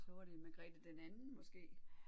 Så var det Margrethe den anden måske